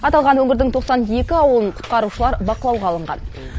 аталған өңірдің тоқсан екі ауылын құтқарушылар бақылауға алынған